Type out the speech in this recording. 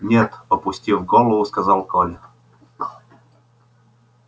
нет опустив голову сказал коля